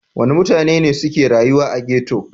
Wane mutane ne suke rayuwa a ghetto?